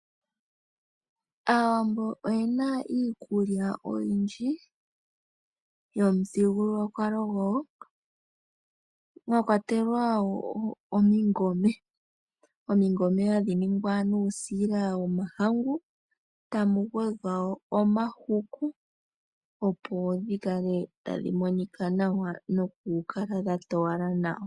Aawambo oyena iikulya oyindji yopamuthigululwakalo gwawo mwa kwatelwa iikwiila, iikwiila ohayi ningwa nuusila womahangu tamu gwedhwa wo omahuku, opo dhi kale tadhi monika nawa noku kala dha towala nawa.